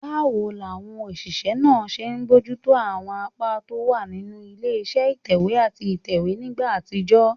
Báwo làwọn òṣìṣẹ́ náà ṣe ń bójú tó àwọn apá tó wà nínú ilé iṣẹ́ ìtẹ̀wé àti ìtẹ̀wé nígbà àtijọ́?